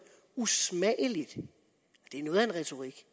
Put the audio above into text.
usmageligt det er noget af en retorik